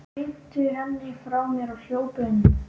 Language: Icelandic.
Hrinti henni frá mér og hljóp inn.